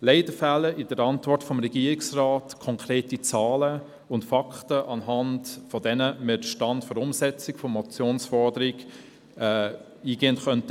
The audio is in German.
Leider fehlen in der Antwort des Regierungsrates konkrete Zahlen und Fakten, anhand derer wir den Stand der Umsetzung der Motionsforderung beurteilen können.